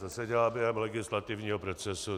To se dělá během legislativního procesu.